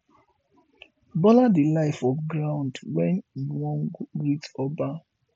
bola dey lie for ground wen he wan greet oba